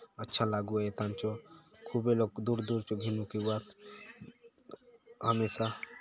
अच्छा लागुआय ए थाने चो खूबे लोग दूर-दूर चो बुलुक एवात हमेंशा--